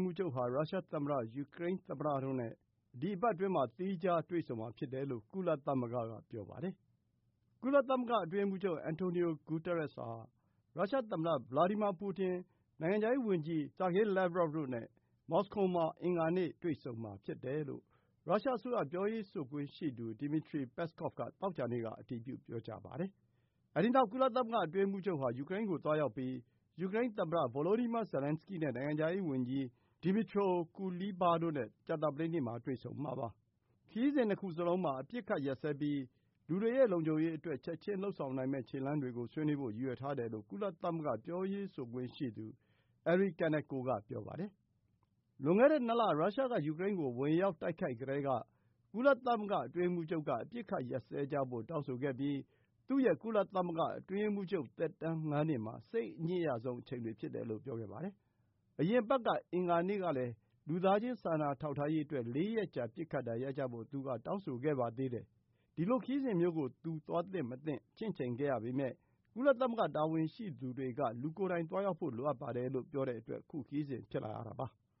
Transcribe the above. မှူးချုပ်ဟာ ရုရှားသမ္မတ၊ ယူကရိန်းသမ္မတတို့နဲ့ လာမယ့်ရက်တွေမှာ သီးခြားစီ တွေ့ဆုံမှာဖြစ်တယ်လို့ ကုလသမဂ္ဂက ပြောပါတယ်။ ကုလသမဂ္ဂ အတွင်းရေးမှူးချုပ် Antonio Guterres ဟာ ရုရှားသမ္မတ Vladimir Putin၊ နိုင်ငံခြားရေးဝန်ကြီး Sergey Lavrov တို့နဲ့ မော်စကိုမှာ အင်္ဂါနေ့ တွေ့ဆုံမှာဖြစ်တယ်လို့ ရုရှားအစိုးရ ပြောရေးဆိုခွင့်ရှိသူ Dmitry Peskov က သောကြာနေ့က အတည်ပြု ပြောကြားပါတယ်။ အဲဒီနောက် ကုလသမဂ္ဂ အတွင်းရေးမှူးချုပ်ဟာ ယူကရိန်းကို သွားရောက်ပြီး ယူကရိန်းသမ္မတ Volodymyr Zelenskyy နဲ့ နိုင်ငံခြားရေးဝန်ကြီး Dmytro Kuleba တို့နဲ့ ကြာသပတေးနေ့မှာ တွေ့ဆုံမှာပါ။ ခရီးစဉ် ၂ ခုလုံးမှာ အပစ်အခတ်ရပ်စဲပြီး လူတွေရဲ့ လုံခြုံရေးအတွက် ချက်ချင်း လုပ်ဆောင်နိုင်မယ့် ခြေလှမ်းတွေကို ဆွေးနွေးဖို့ ရည်ရွယ်ထားတယ်လို့ ကုလသမဂ္ဂ ပြောရေးဆိုခွင့်ရှိသူ Eri Kaneko က ပြောပါတယ်။ လွန်ခဲ့တဲ့ ၂ လ ရုရှားက ယူကရိန်းကို ဝင်ရောက် တိုက်ခိုက်ကတည်းက ကုလသမဂ္ဂ အတွင်းရေးမှူးချုပ်က အပစ်အခတ် ရပ်စဲကြဖို့ တောင်းဆိုခဲ့ပြီး သူ့ရဲ့ ကုလသမဂ္ဂ အတွင်းရေးမှူးချုပ် သက်တမ်း ၅ နှစ်မှာ စိတ်အညစ်ရဆုံးအချိန်တွေ ဖြစ်တယ်လို့ ပြောခဲ့ပါတယ်။ အရင်အပတ် အင်္ဂါနေ့တုန်းကလည်း လူသားချင်း စာနာထောက်ထားရေးအတွက် ၄ ရက်ကြာ ပစ်ခတ်တာ ရပ်ကြဖို့ သူက တောင်းဆိုခဲ့ပါသေးတယ်။ ဒီလိုခရီးစဉ်မျိုးကို သူ သွားသင့်မသွားသင့် ချင့်ချိန်ခဲ့ရပေမဲ့ ကုလသမဂ္ဂ တာဝန်ရှိသူတွေက လူကိုယ်တိုင် သွားရောက်ဖို့ လိုပါတယ်လို့ ပြောတဲ့အတွက် ခုခရီးစဉ် ဖြစ်လာရတာပါ။